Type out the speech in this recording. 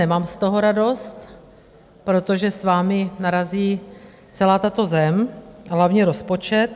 Nemám z toho radost, protože s vámi narazí celá tato zem, hlavně rozpočet.